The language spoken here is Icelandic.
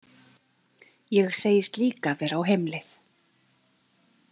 Ég segist líka vera á heimleið.